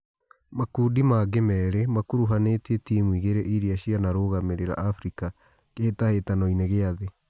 Makundi mangĩ merĩ makuruhanĩtie timu igĩrĩ irĩa cianarugamĩ rĩ ra Afrika Kĩ hĩ tahĩ tanoinĩ gĩ a thĩ .